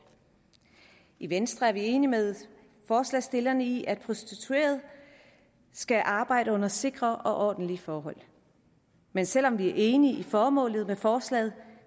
i venstre er vi enige med forslagsstillerne i at prostituerede skal arbejde under sikre og ordentlige forhold men selv om vi er enige i formålet med forslaget